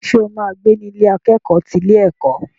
Ṣo ma gbé ní Ilé akẹ́kọ̀ọ́ ti ilé ẹ̀kọ́?